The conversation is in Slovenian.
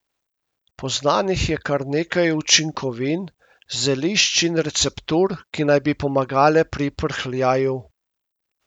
Poznanih je kar nekaj učinkovin, zelišč in receptur, ki naj bi pomagale pri prhljaju.